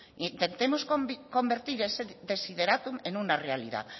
intentemos convertir ese desiderátum en una realidad